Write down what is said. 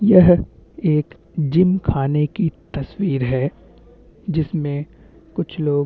यह एक जिम खाने की तसवीर है जिसमे कुछ लोग --